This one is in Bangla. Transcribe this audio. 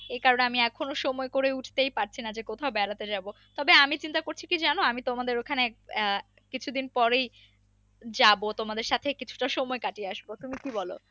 এই কারণে আমি এখনো সময় করে উঠতেই পারছিনা যে কোথাও বেড়াতে যাবো, তবে আমি চিন্তা করছি কি জানো আমি তোমাদের ওখানে আহ কিছুদিন পরেই যাবো তোমাদের সাথে কিছু তা সময় কাটিয়ে আসবো তুমি কি বলো